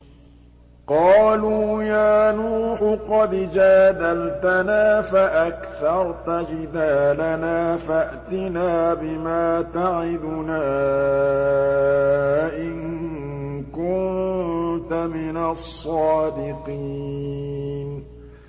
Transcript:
قَالُوا يَا نُوحُ قَدْ جَادَلْتَنَا فَأَكْثَرْتَ جِدَالَنَا فَأْتِنَا بِمَا تَعِدُنَا إِن كُنتَ مِنَ الصَّادِقِينَ